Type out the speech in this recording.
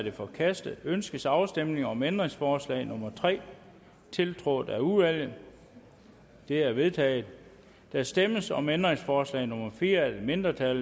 er forkastet ønskes afstemning om ændringsforslag nummer tre tiltrådt af udvalget det er vedtaget der stemmes om ændringsforslag nummer fire af et mindretal